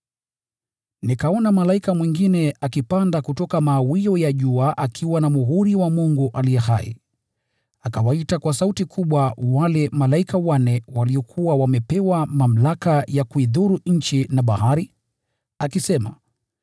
Nikaona malaika mwingine akipanda kutoka mawio ya jua akiwa na muhuri wa Mungu aliye hai. Akawaita kwa sauti kubwa wale malaika wanne waliokuwa wamepewa mamlaka ya kuidhuru nchi na bahari, akisema,